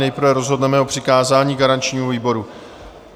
Nejprve rozhodneme o přikázání garančnímu výboru.